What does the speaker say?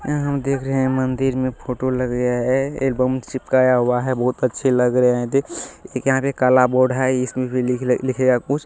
ये यहां हम देख रहे है मंदिर मे फोटो लग गया है। एलबम चिपकाया हुआ है बहुत अच्छे लग रहे हैं एक यहां पे काला बोर्ड है इसमे भी लिखले-लिखेगा कुछ --